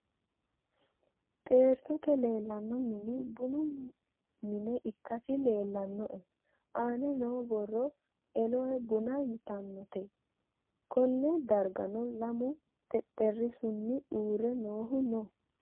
Xeertote leellanno mini bunu mine ikkasi leellanoe. Aanaho noo borro elohe buna yitannote. Konne dargano lamu xexerisuni uurre noohu noo.